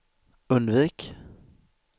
undvik